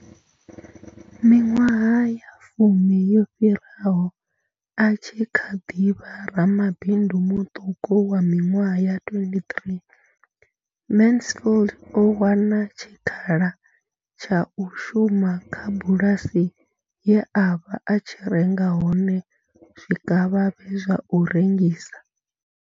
Miṅwaha ya fumi yo fhiraho, a tshi kha ḓi vha ramabindu muṱuku wa miṅwaha ya 23, Mansfield o hana tshikhala tsha u shuma kha bulasi ye a vha a tshi renga hone zwikavhavhe zwa u rengisa.